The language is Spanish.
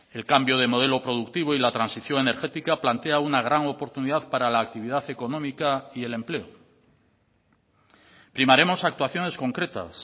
el cambio de modelo productivo y la transición energética plantea una gran oportunidad para la actividad económica y el empleo primaremos actuaciones concretas